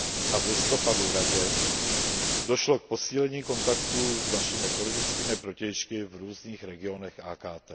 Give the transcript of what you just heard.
a v listopadu Radě, došlo k posílení kontaktů s našimi politickými protějšky v různých regionech AKT.